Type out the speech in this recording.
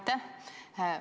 Aitäh!